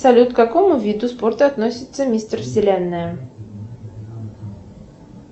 салют к какому виду спорта относится мистер вселенная